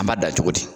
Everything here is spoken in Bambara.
An b'a da cogo di